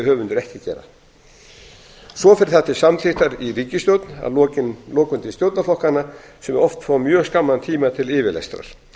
höfundur ekki að gera svo fer það til samþykktar í ríkisstjórn og að lokum til stjórnarflokkanna sem oft fá mjög skamman tíma til yfirlestrar